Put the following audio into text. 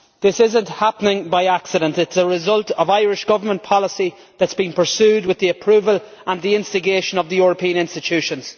This is not happening by accident it is a result of Irish government policy that has been pursued with the approval and the instigation of the European institutions.